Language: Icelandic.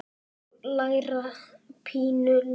Bryndís: Og læra pínu líka?